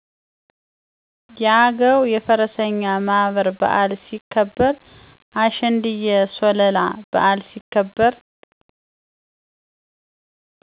የአገዉ የፈረሰኛ ማህበር በዓል ሲከበር። አሸንድየ ሶለላ በዓል ሲከበር